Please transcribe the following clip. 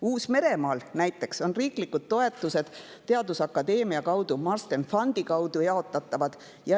Uus-Meremaal näiteks on riiklikud toetused teadusakadeemia kaudu Marsden Fundi kaudu jaotatavad.